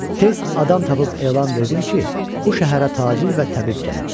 Tez adam tapıb elan verdim ki, bu şəhərə tacir və təbib gəlib.